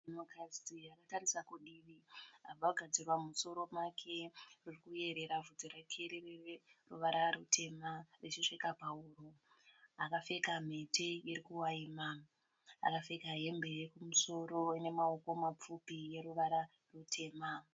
Munhukadzi akatarisa kudivi. Abva kugadzirwa mumusoro make. Riri kuyerera bvudzi rake riri reruvara rutema richisvika pahuro. Akapfeka mhete iri kuvayima. Akapfeka hembe yekumusoro ine maoko mapfupi yeruvara rutema.